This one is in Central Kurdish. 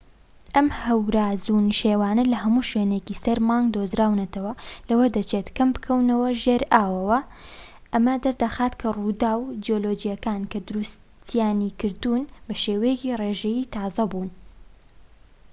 ئەم هەوراز و نشێوانە لە هەموو شوێنێکی سەر مانگ دۆزراونەتەوە و لەوە دەچێت کەم بکەونە ژێر ئاوهەواوە ئەمە دەردەخات کە ڕووداوە جیولۆجیەکان کە دروستیانی کردوون بە شێوەیەکی ڕێژەیی تازە بوون